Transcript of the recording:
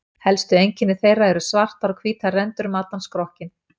Helsta einkenni þeirra eru svartar og hvítar rendur um allan skrokkinn.